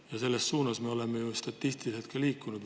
Ja selles suunas me ju olemegi liikunud, kui statistikat.